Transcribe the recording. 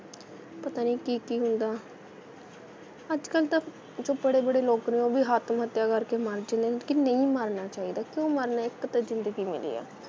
ਪਤਾ ਨਹੀ ਕੀ ਕੀ ਹੁੰਦਾ ਅੱਜ ਕੱਲ ਤਾਂ ਜੋ ਬੜੇ ਬੜੇ ਲੋਕ ਨੇ ਉਹ ਵੀ ਆਤਮਹੱਤਿਆ ਕਰਕੇ ਮਰ ਜਾਂਦੇ ਨੇ ਲੇਕਿਨ ਨਹੀਂ ਮਰਨਾ ਚਾਹੀਦਾ ਕਿਉਂ ਮਰਨਾ ਏ ਇੱਕ ਤਾਂ ਜ਼ਿੰਦਗੀ ਮਿਲੀ ਏ